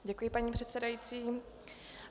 Děkuji, paní předsedající.